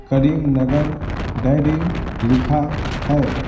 करीम नगर diary लिखा है।